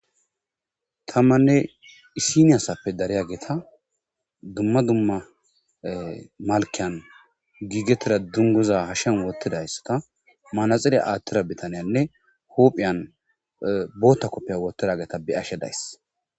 tammanne isiniyasappe dariya geeta dumma dumma malkiyan giigeteda dunguza hashshen wottidaysa ka maanaxily aattira bitaniyanne hophiyan bootta koppiya wottida geeta be ashe days